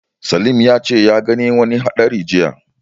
Salim ya ce a ga wani haɗari jiya.